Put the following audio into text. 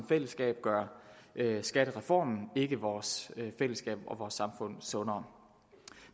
fællesskabet gør skattereformen ikke vores fællesskab og vores samfund sundere